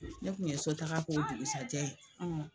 Ne kun ye sotaga k'o dugusajɛ ye.